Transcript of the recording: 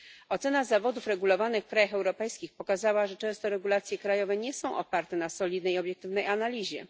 Ocena zawodów regulowanych w krajach europejskich pokazała, że często regulacje krajowe nie są oparte na solidnej i obiektywnej analizie.